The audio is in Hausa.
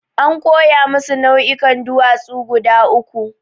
An koya musu nau'ikan duwatsu guda uku.